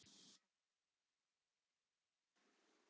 Karen: Er ekki offramboð?